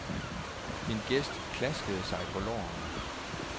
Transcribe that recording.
Min gæst klaskede sig på lårene.